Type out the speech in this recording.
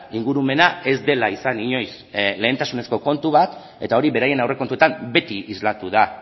ingurumena ez dela izan inoiz lehentasunezko kontu bat eta hori beraien aurrekontuetan beti islatu da